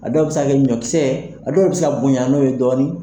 A dɔw bɛ se kɛ ɲɔkisɛ, a dɔw bɛ se ka bonyan n'o ye dɔɔni.